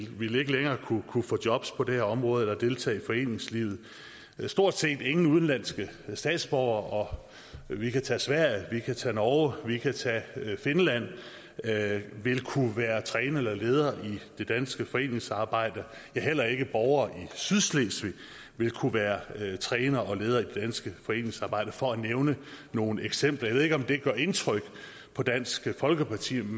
vil ikke længere kunne få jobs på det her område eller deltage i foreningslivet stort set ingen udenlandske statsborgere og vi kan tage sverige vi kan tage norge vi kan tage finland vil kunne være trænere eller ledere i det danske foreningsarbejde ja heller ikke borgere i sydslesvig vil kunne være trænere eller ledere i det danske foreningsarbejde for at nævne nogle eksempler jeg ved ikke om det gør indtryk på dansk folkeparti vi